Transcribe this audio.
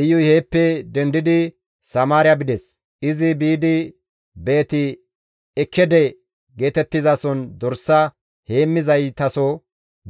Iyuy heeppe dendidi Samaariya bides; izi biidi Beet-Ekkede geetettizason dorsa heemmizaytaso